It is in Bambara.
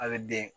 A bɛ den